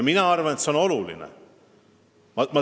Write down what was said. Mina arvan, et see on oluline.